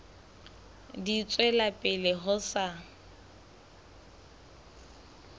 di tswela pele ho sa